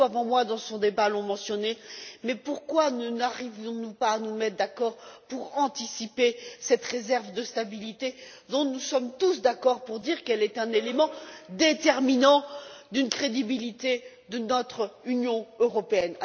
Beaucoup avant moi dans ce débat l'ont mentionné, mais pourquoi n'arrivons nous pas à nous mettre d'accord pour anticiper cette réserve de stabilité, dont nous sommes tous d'accord pour dire qu'elle est un élément déterminant d'une crédibilité de notre Union européenne.